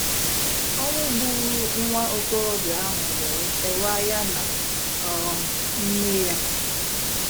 Ọnwụ gburu nwa okorobịa ahụ wee kewaa ya na um nne ya.